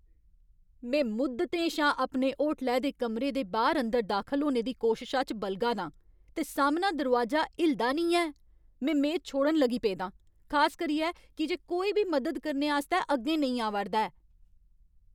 में मुद्दतें शा अपने होटलै दे कमरे दे बाह्‌र अंदर दाखल होने दी कोशशा च बलगा ना आं, ते सामना दरोआजा हिलदा नेईं ऐ! में मेद छोड़न लगी पेदा आं, खास करियै की जे कोई बी मदद करने आस्तै अग्गें नेईं आवा'रदा ऐ।